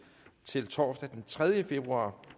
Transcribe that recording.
til torsdag den tredje februar